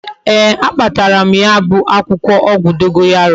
Ee, a kpatara m ya bu akwukwo ogwu dogoyaro